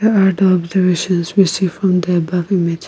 here are the observations we see from the above image.